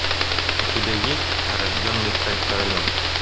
у тебя есть рожденный стать королем